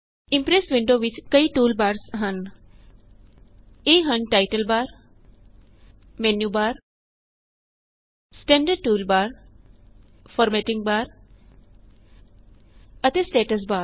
Impress window ਵਿੱਚ ਕਈ toolbar ਹਨ160 ਇਹ ਹਨ title bar menu bar standard toolbar formatting bar ਅਤੇ ਸਟੇਟਸ ਬਾਰ